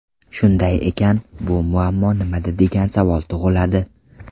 Shunday ekan, muammo nimada degan savol tug‘iladi.